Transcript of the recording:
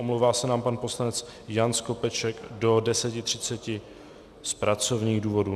Omlouvá se nám pan poslanec Jan Skopeček do 10.30 z pracovních důvodů.